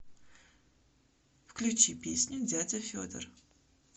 включи песню дядя федор